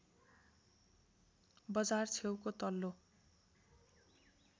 बजार छेउको तल्लो